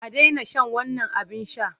A daina shan wannan abin sha!